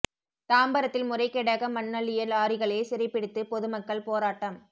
தாம்பரத்தில் முறைகேடாக மண் அள்ளிய லாரிகளை சிறை பிடித்து பொதுமக்கள் போராட்டம்